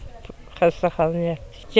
Xəstəxanaya yatdıq.